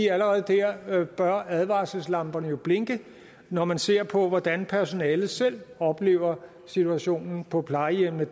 allerede der bør advarselslamperne jo blinke når man ser på hvordan personalet selv oplever situationen på plejehjemmene